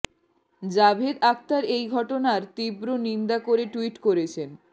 জাভেদ আখতার এই ঘটনার তীব্র নিন্দা করে টুইট করেছেন